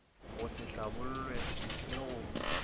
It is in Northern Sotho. go se hlabollwe le go